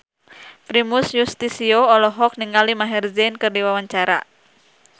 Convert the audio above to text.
Primus Yustisio olohok ningali Maher Zein keur diwawancara